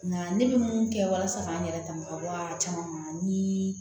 Nka ne bɛ mun kɛ walasa k'an yɛrɛ dama ka bɔ a caman ma ni